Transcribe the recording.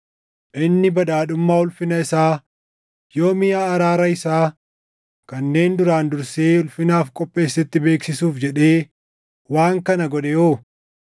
Inni badhaadhummaa ulfina isaa yoo miʼa araara isaa kanneen duraan dursee ulfinaaf qopheessetti beeksisuuf jedhee waan kana godhe hoo?